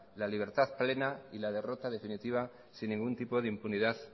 la libertad plena y la derrota definitiva sin ningún tipo de impunidad